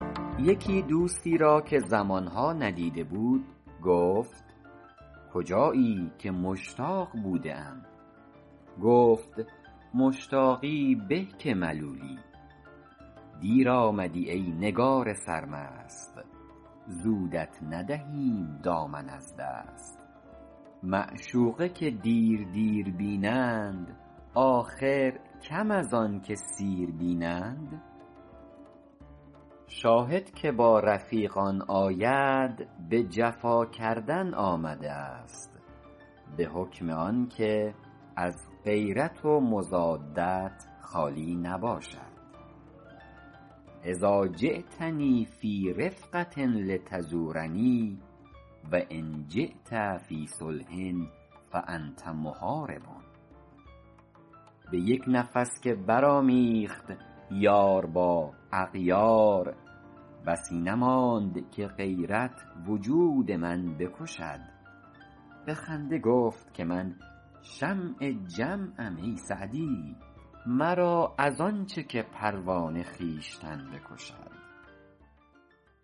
یکی دوستی را که زمان ها ندیده بود گفت کجایی که مشتاق بوده ام گفت مشتاقی به که ملولی دیر آمدی ای نگار سرمست زودت ندهیم دامن از دست معشوقه که دیر دیر بینند آخر کم از آن که سیر بینند شاهد که با رفیقان آید به جفا کردن آمده است به حکم آن که از غیرت و مضادت خالی نباشد اذٰا جیتنی فی رفقة لتزورنی و ان جیت فی صلح فأنت محارب به یک نفس که برآمیخت یار با اغیار بسی نماند که غیرت وجود من بکشد به خنده گفت که من شمع جمعم ای سعدی مرا از آن چه که پروانه خویشتن بکشد